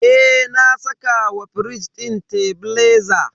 Eh, na saka wa firij din tebileza.